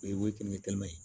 O ye kɛmɛ ye